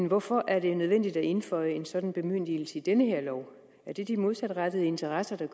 hvorfor er det nødvendigt at indføje en sådan bemyndigelse i denne lov er det de modsatrettede interesser der